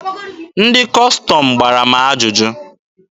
Ndị Kọstọm gbara m ajụjụ.